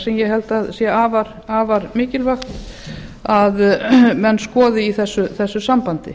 sem ég held að sé afar mikilvægt að menn skoði í þessu sambandi